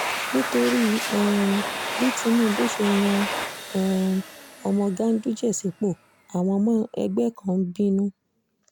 nítorí um bí tinúbù ṣe yan um ọmọ ganduje sípò àwọn ọmọ ẹgbẹ́ kan ń bínú